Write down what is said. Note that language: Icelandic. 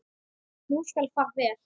Nú skal fara vel.